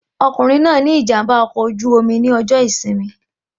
Arákùnrin náà ní ìjàmbá ọkọ̀ oju-omi ní ọjọ ìsinmi